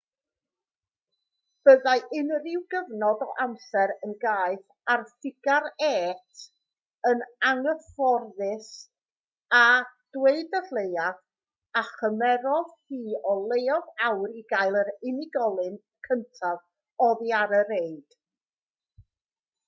byddai unrhyw gyfnod o amser yn gaeth ar ffigar-êt yn anghyfforddus a dweud y lleiaf a chymerodd hi o leiaf awr i gael yr unigolyn cyntaf oddi ar y reid